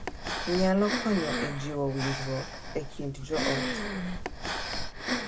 Nyalo konyo e jiwo winjruok e kind joot